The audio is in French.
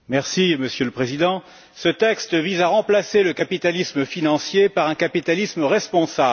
Monsieur le Président, ce texte vise à remplacer le capitalisme financier par un capitalisme responsable.